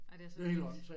Ej det er så vildt